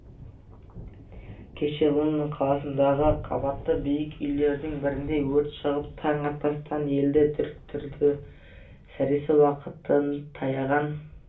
кеше лондон қаласындағы қаббаты биік үйлердің бірінде өрт шығып таң атпастан елді дүрліктірді сәресі уақыты таяған